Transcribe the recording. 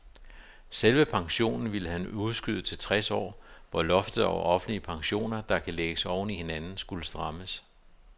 Selve pensionen ville han udskyde til tres år, hvor loftet over offentlige pensioner, der kan lægges oven i hinanden, skulle strammes.